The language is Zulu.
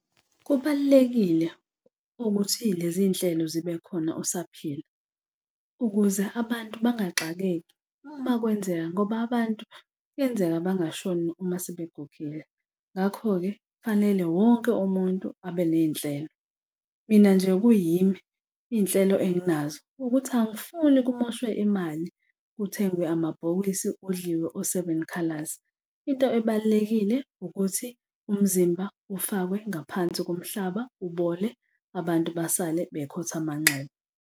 Kubalulekile ukuthi leziy'nhlelo zibe khona usaphila ukuze abantu bangaxakeki uma kwenzeka ngoba abantu kuyenzeka bengashoni uma sebegugile. Ngakho-ke kufanele wonke umuntu abe ney'nhlelo. Mina nje kuyimi, iy'nhlelo enginazo ukuthi angifuni kumoshwe imali kuthengwe amabhokisi kudliwe o-seven colours. Into ebalulekile ukuthi umzimba ufakwe ngaphansi komhlaba, ubole. Abantu basale bekhotha amanxeba.